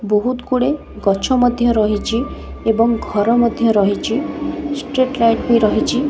ବହୁତ ଗୋଡେ ଗଛ ମଧ୍ୟ ରହିଛି ଏବଂ ଘର ମଧ୍ୟ ରହିଛି ଷ୍ଟ୍ରୀଟ ଲାଇଟ୍ ବି ରହିଛି।